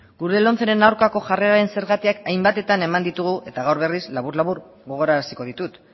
gure lomceren aurkako jarreraren zergatiak hainbatetan eman ditugu eta gaur berriz labur labur gogoraraziko ditut